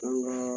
An ka